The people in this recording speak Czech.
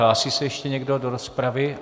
Hlásí se ještě někdo do rozpravy?